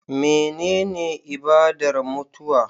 Menene ibadar mutuwa